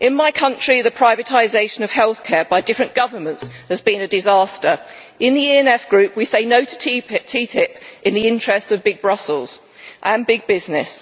In my country, the privatisation of health care by different governments has been a disaster. In the ENF Group, we say no to TTIP in the interest of big Brussels and big business.